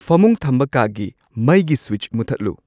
ꯐꯃꯨꯡ ꯊꯝꯕ ꯀꯥꯒꯤ ꯃꯩꯒꯤ ꯁ꯭ꯋꯤꯠꯆ ꯃꯨꯊꯠꯂꯨ